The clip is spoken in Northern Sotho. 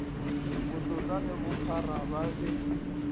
botlotla le bophara ba be